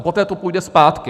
A poté to půjde zpátky.